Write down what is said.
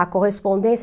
a correspondência.